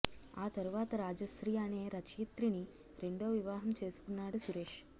ఆ తరువాత రాజశ్రీ అనే రచయిత్రిని రెండో వివాహం చేసుకున్నాడు సురేష్